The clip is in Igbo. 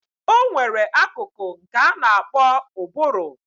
Onwere akụkụ nke ana akpo ụbụrụ.